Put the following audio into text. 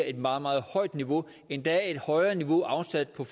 et meget meget højt niveau endda et højere niveau afsat på